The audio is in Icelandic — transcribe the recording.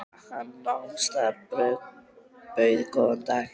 Hann nam staðar og bauð góðan dag.